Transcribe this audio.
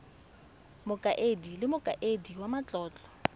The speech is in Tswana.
mokaedi le mokaedi wa matlotlo